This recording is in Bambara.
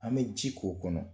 An bɛ ji k'o kɔnɔ